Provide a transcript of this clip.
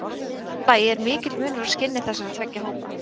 Í fimmta lagi er mikill munur á skinni þessara tveggja hópa.